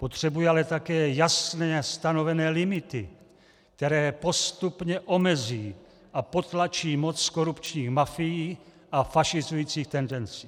Potřebuje ale také jasně stanovené limity, které postupně omezí a potlačí moc korupčních mafií a fašizujících tendencí.